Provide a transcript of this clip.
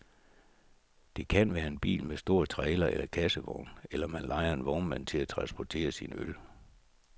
Det kan være en bil med en stor trailer eller en kassevogn, eller man lejer en vognmand til at transportere sine øl.